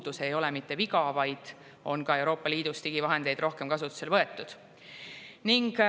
Nii et see ei ole mitte viga, vaid ka Euroopa Liidus on nüüd digivahendeid rohkem kasutusele võetud.